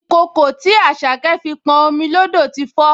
Ìkòkò tí Àṣàkẹ́ fi pọn omi lódò ti fó